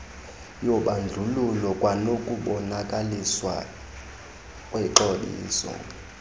yobandlululo kwanokubonakaliswa kwexabiso